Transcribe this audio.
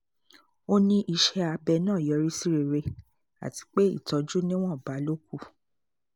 ó ní iṣẹ́ abẹ náà yọrí sí rere àti pé ìtọ́jú níwọ̀nba ló kù